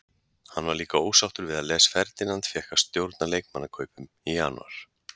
Hann var líka ósáttur við að Les Ferdinand fékk að stjórna leikmannakaupum í janúar.